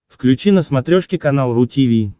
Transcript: включи на смотрешке канал ру ти ви